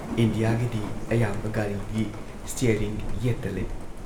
ꯏꯟꯗꯤꯌꯥꯒꯤꯗꯤ ꯑꯌꯥꯝꯕ ꯒꯥꯔꯤꯒꯤ ꯁ꯭ꯇꯤꯌꯥꯔꯤꯡ ꯌꯦꯠꯇ ꯂꯩ꯫